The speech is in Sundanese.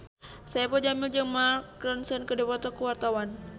Saipul Jamil jeung Mark Ronson keur dipoto ku wartawan